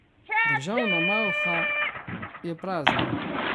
Državna malha je prazna ...